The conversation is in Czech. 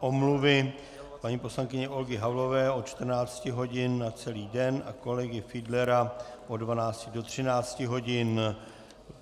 omluvy paní poslankyně Olgy Havlové od 14 hodin na celý den a kolegy Fiedlera od 12 do 13 hodin.